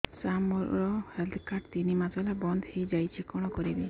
ସାର ମୋର health card ତିନି ମାସ ହେଲା ବନ୍ଦ ହେଇଯାଇଛି କଣ କରିବି